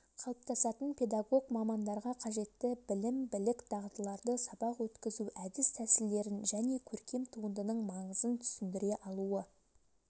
қалыптасатын педагог мамандарға қажетті білім-білік дағдыларды сабақ өткізу әдіс-тәсілдерін және көркем туындының маңызын түсіндіре алуы